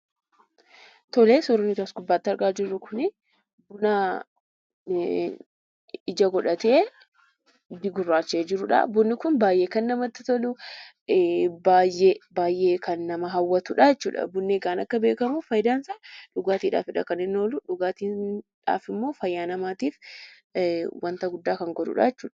Suurri nuti as gubbaatti argaa jirru kun, buna ija godhatee gurraacha'ee jirudha. Bunni kun baayyee kan namatti toluu , baayyee kan nama hawwatudha jechuudha. Bunni akka beekamu fayidaan isaa dhugaatiidhaafidha kan inni ooluu. Dhugaatiidhaaf immoo fayyaa namaatiif waanta guddaa kan godhudha jechuudha.